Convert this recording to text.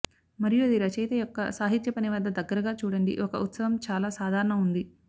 మరియు అది రచయిత యొక్క సాహిత్య పని వద్ద దగ్గరగా చూడండి ఒక ఉత్సవం చాలా సాధారణ ఉంది